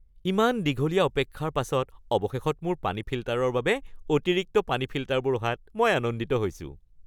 ইমান দীঘলীয়া অপেক্ষাৰ পাছত অৱশেষত মোৰ পানী ফিল্টাৰৰ বাবে অতিৰিক্ত পানীৰ ফিল্টাৰবোৰ অহাত মই আনন্দিত হৈছো। (গ্ৰাহক)